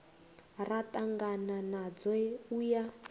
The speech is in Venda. ra ṱangana nadzo u ya